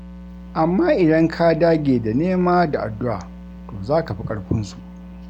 Amma idan ka dage da nema da addu'a to za ka fi ƙarfinsu.